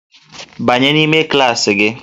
Banye n'ime klaasị gị!